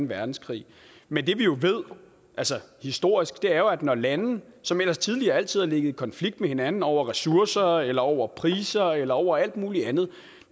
verdenskrig men det vi jo altså historisk ved er at når lande som ellers tidligere altid har ligget i konflikt med hinanden over ressourcer eller over priser eller over alt muligt andet